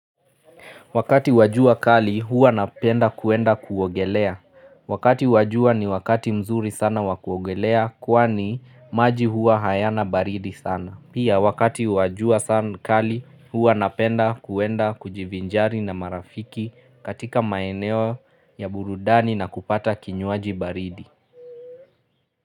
Wakati wa jua kali huwa napenda kuenda kuogelea. Wakati wa jua ni wakati mzuri sana wa kuogelea kwani maji huwa hayana baridi sana. Pia wakati wa jua sana kali huwa napenda kuenda kujivinjari na marafiki katika maeneo ya burudani na kupata kinyuaji baridi.